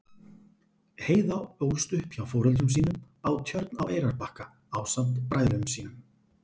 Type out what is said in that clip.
Heiða ólst upp hjá foreldrum sínum á Tjörn á Eyrarbakka ásamt bræðrum sínum.